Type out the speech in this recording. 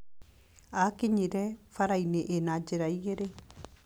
Aakinyire bara-inĩ ĩna njĩra igĩrĩ.